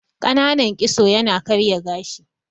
Ƙananan kitso ya na karya gashi